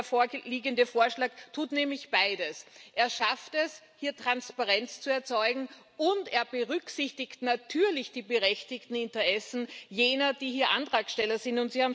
Der vorliegende Vorschlag tut nämlich beides Er schafft es, hier Transparenz zu erzeugen, und er berücksichtigt natürlich die berechtigten Interessen jener, die hier Antragsteller sind.